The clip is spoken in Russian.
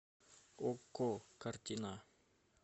окко картина